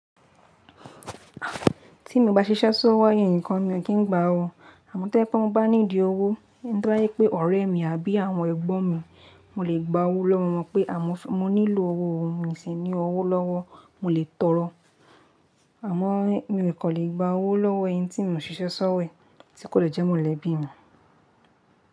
Tí mi ì bá ṣiṣẹ́ sọ́wọ́ ẹnìkan, mi ò kí n gbàá o. Àmọ́ tí ó bá jẹ́ pé wọ́n bá níìdí owó, tí ó bá jẹ́ pé ọ̀rẹ́ mi àbí àwọn ẹ̀gbọ́n mi, mo lè gba owó lọ́wọ́ wọn pé àmọ́ mo nílò owó, mi ò sì ní owó lọ́wọ́, mo lè tọrọ. Àmọ́ mi ò kàn lè gba owó lọ́wọ́ ẹni tí mi ò ṣiṣẹ́ sọ́wọ́ ẹ̀ tí kò dẹ̀ jẹ́ mọ̀lẹ́bí mi.